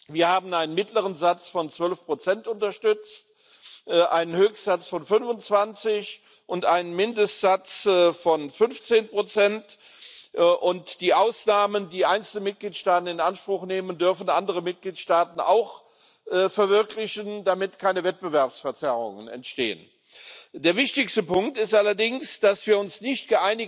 Wir haben einen mittleren Satz von 12 unterstützt, einen Höchstsatz von 25 und einen Mindestsatz von 15 sowie Ausnahmen, die einzelne Mitgliedstaaten in Anspruch nehmen dürfen, die andere Mitgliedsstaaten auch verwirklichen, damit keine Wettbewerbsverzerrungen entstehen. Der wichtigste Punkt ist allerdings, dass wir uns nicht